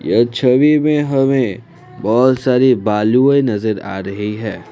यह छवि में हमें बहोत सारी बालूये नजर आ रही है।